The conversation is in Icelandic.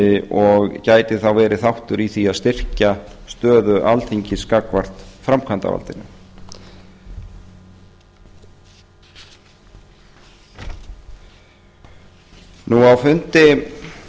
og gæti þá verið þáttur í því að styrkja stöðu alþingis gagnvart framkvæmdarvaldinu á fundi